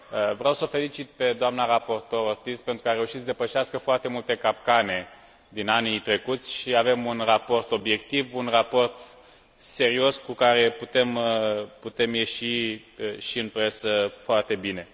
Vreau s o felicit pe doamna raportor Ortiz pentru că a reușit să depășească foarte multe capcane din anii trecuți și avem un raport obiectiv, un raport serios, cu care putem ieși și în presă foarte bine.